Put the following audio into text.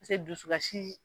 dusukasi